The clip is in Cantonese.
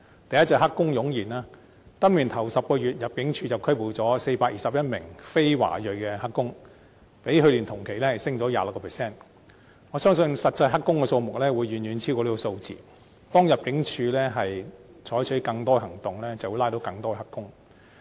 第一個是"黑工"湧現，今年首10個月，入境處拘捕了421名非華裔的"黑工"，較去年同期上升 26%， 我相信實際"黑工"數目，會遠遠超過這個數字，當入境處採取更多行動時，便會拘捕更多"黑工"。